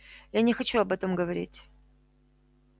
я не хочу об этом говорить